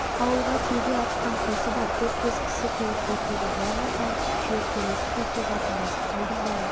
ауылға түйеге артқан қосы бар төрт-бес кісі келіп қосылды бұлармен танысып шүйіркелесіп өте жақындасып қалдым бәрі